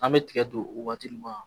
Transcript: An bɛ tigɛ don o waati ma